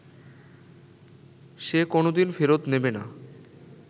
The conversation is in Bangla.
সে কোনোদিন ফেরত নেবে না